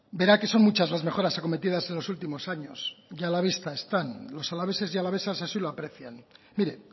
verá que son muchas las mejoras acometidas en los últimos años y a la vista están los alaveses y alavesas así lo aprecian mire